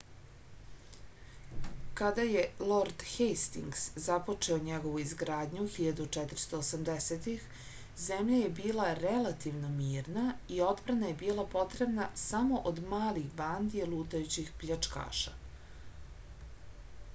kada je lord hejstings započeo njegovu izgradnju 1480-ih zemlja je bila relativno mirna i odbrana je bila potrebna samo od malih bandi lutajućih pljačkaša